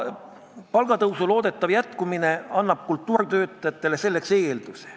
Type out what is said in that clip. Palgatõusu loodetav jätkumine loob selleks eelduse.